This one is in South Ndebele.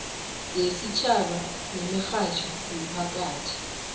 yesitjhaba yemirhatjho yomphakathi